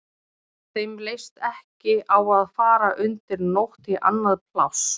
Þeim leist ekki á að fara undir nótt í annað pláss.